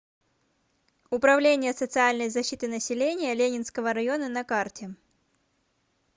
управление социальной защиты населения ленинского района на карте